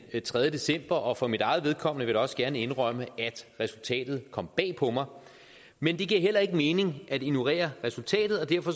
tredje december og for mit eget vedkommende vil også gerne indrømme at resultatet kom bag på mig men det giver heller ikke mening at ignorere resultatet og derfor